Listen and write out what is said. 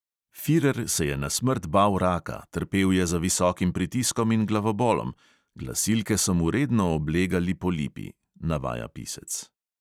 Firer se je na smrt bal raka, trpel je za visokim pritiskom in glavobolom, glasilke so mu redno oblegali polipi, navaja pisec.